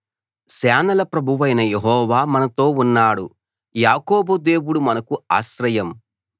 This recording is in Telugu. సేనల ప్రభువైన యెహోవా మనతో ఉన్నాడు యాకోబు దేవుడు మనకు ఆశ్రయం